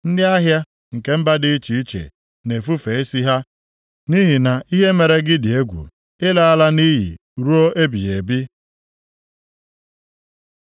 Ndị ahịa nke mba dị iche iche na-efufe isi ha, nʼihi na ihe mere gị dị egwu. Ị laala nʼiyi ruo ebighị ebi.’ ”